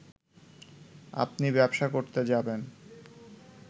আপনি ব্যবসা করতে যাবেন